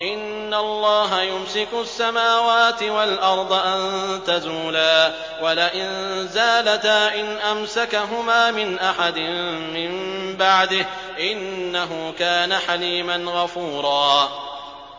۞ إِنَّ اللَّهَ يُمْسِكُ السَّمَاوَاتِ وَالْأَرْضَ أَن تَزُولَا ۚ وَلَئِن زَالَتَا إِنْ أَمْسَكَهُمَا مِنْ أَحَدٍ مِّن بَعْدِهِ ۚ إِنَّهُ كَانَ حَلِيمًا غَفُورًا